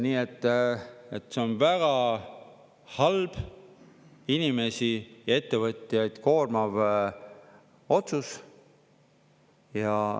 Nii et see on väga halb, inimesi ja ettevõtjaid koormav otsus.